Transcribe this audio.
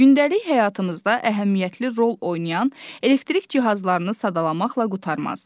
Gündəlik həyatımızda əhəmiyyətli rol oynayan elektrik cihazlarını sadalamaqla qurtarmaz.